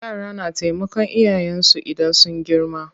Yara na taimakan iyayen su idan sun girma.